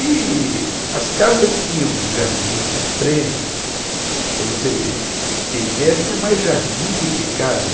E as casas tinham jardins na frente, para você ter ideia, tinha mais jardim do que casa.